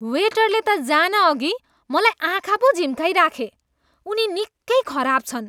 वेटरले त जानअघि मलाई आँखा पो झिम्क्याइराखे। उनी निकै खराब छन्।